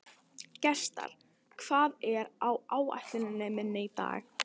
Gestar, hvað er á áætluninni minni í dag?